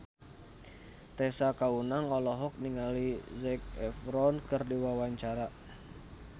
Tessa Kaunang olohok ningali Zac Efron keur diwawancara